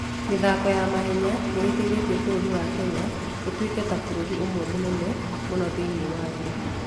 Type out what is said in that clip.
mĩthako ya mahenya nĩ ĩteithĩtie bũrũri wa Kenya ũtuĩke ta bũrũri ũmwe mũnene mũno thĩinĩ wa thĩ.